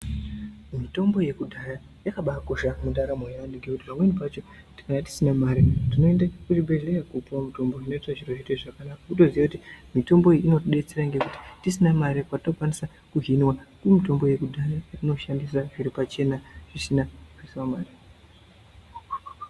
Mitombo yekudhaya yakabaa kosha mundaramo ye antu nekuti pamweni pachona tinwnge tisina mari tinoenda kuzvi bhedhleya kwo puwa mutombo kutoziya kuti mitombo iyi inoti detsera patinenge tisina mare patokwanisa ku hinwa nemitombo yeu dhaya inotidetsera zviri pachena pasina mare .